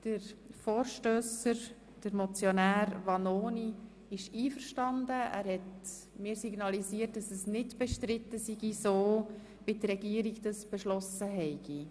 Der Vorstösser, Motionär Vanoni, ist einverstanden und hat mir signalisiert, dass es nicht bestritten sei, so wie die Regierung es beantragt.